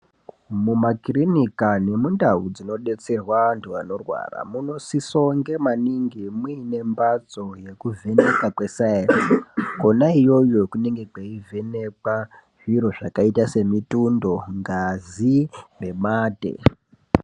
Mumakirinika nemundau dzinodetserwa antu anorwara munonosisa kunge maningi muine mbatso yekuvhenekwa kwesaenzi kwona iyoyo kunonga kweivhenekwa zviro zvakaita semitundo, ngazi nemate.